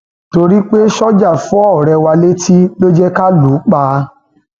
torí pé sójà fọ ọrẹ wa létí ló jẹ ká lù ú pa